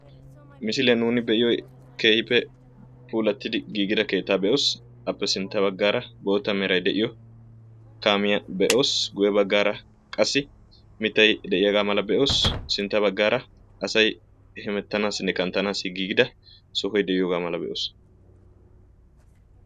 Misile nuun be'iyoy keehippe puualatid giigi keetta be'oos; appe sintta baggara mery de'iyo kaamiyaa be'oos; guyye baggara qassi mittay de'iyaaga mala be'oos, sinttaa baggara asay hemettanassinne kanttanassi giigida ogiyaa be'oos